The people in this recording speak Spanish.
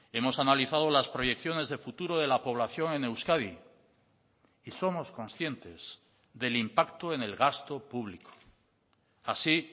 hemos analizado las proyecciones de futuro de la población en euskadi y somos conscientes del impacto en el gasto público así